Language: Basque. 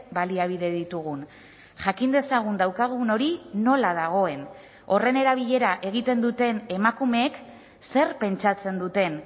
baliabide ditugun jakin dezagun daukagun hori nola dagoen horren erabilera egiten duten emakumeek zer pentsatzen duten